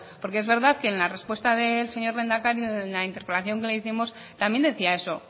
porque es verdad que en la respuesta del señor lehendakari en la interpelación que le hicimos también decía eso